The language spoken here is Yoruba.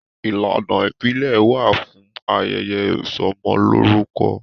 Ìlànà ìbílẹ̀ wà fún ayẹyẹ ìsọmọlórúkọ..